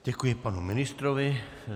Děkuji panu ministrovi.